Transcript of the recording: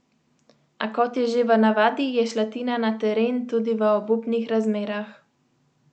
A kot je že v navadi, je šla Tina na teren tudi v obupnih razmerah.